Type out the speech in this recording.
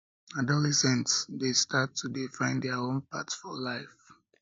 adolescents dey start to dey find their own path for life